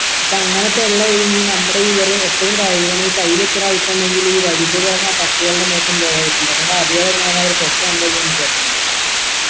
അപ്പൊ അങ്ങനത്തെ ഉള്ളെ ഈ നമ്മുടെ ഈ വെറും എപ്പഴും കഴുകണ ഈ കൈയിൽ എത്ര അഴുക്കുണ്ടെങ്കിലും ഈ വഴി കൂടെ നടക്കണ പട്ടികളുടെ മേത്ത് ഏന്തോരം അഴുക്കുണ്ടാകും നമ്മ അറിയാതെ ഞാൻ അവരെ തൊട്ട എന്തായിരിക്കും നമക്ക് പറ്റണത്